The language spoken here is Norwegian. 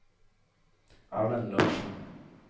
Erlend Larsen